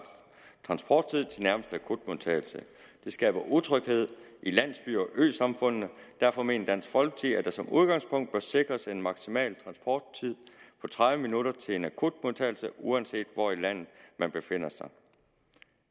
transporttid til nærmeste akutmodtagelse det skaber utryghed i landsbyerne og øsamfundene og derfor mener dansk folkeparti at der som udgangspunkt bør sikres en maksimal transporttid på tredive minutter til en akutmodtagelse uanset hvor i landet man befinder sig